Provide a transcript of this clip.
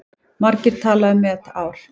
Margir tala um met ár.